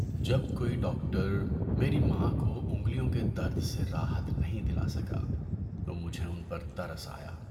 جب کوئی ڈاکٹر میری ماں کو انگلیوں کے درد سے راحت نہیں دلا سکا تو مجھے ان پر ترس آیا۔